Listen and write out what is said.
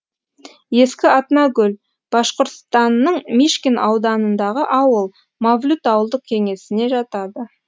ескі атнагүл башқұртстанның мишкин ауданындағы ауыл мавлют ауылдық кеңесіне жатады